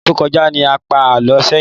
Ọsẹ tó kọjá ní a pá alọ sẹyin